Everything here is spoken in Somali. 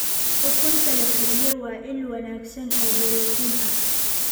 Ukunta la kariyey waa il wanaagsan oo borotiin ah.